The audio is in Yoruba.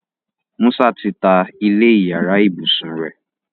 Musa tí tá ilé iyàrá ibusùn rẹ.